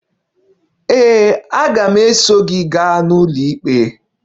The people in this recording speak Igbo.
Ee, aga m eso gị gaa n'ụlọikpe.